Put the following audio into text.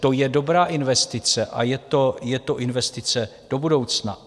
To je dobrá investice a je to investice do budoucna.